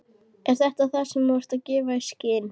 Er það þetta, sem þú ert að gefa í skyn?